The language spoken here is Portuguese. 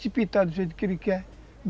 Se pintar do jeito que ele quer.